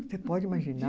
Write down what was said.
Você pode imaginar?